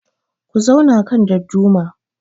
Ku zauna kan dadduma